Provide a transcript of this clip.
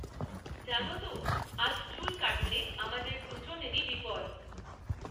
জানো তো, আজ চুল কাটলে আমাদের দুজনেরই বিপদ।